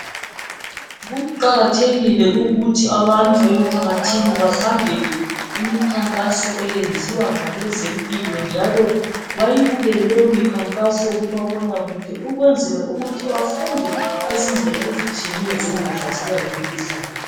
Kuqakathekile ukuthi abantu emphakathini bahambele imikhankaso eyenziwa ngabezempilo njalo bayibukele leyo mikhankaso kumabonakude ukwenzela ukuthi bafunde izindlela ezitshiyeneyo zokungahlaselwa yimikhuhlane.